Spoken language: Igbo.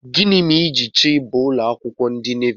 Gịnị mere ijiri chọọ ịba ụlọakwụkwọ ndị navi?